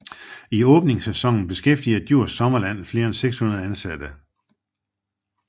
I åbningssæsonen beskæftiger Djurs Sommerland flere end 600 ansatte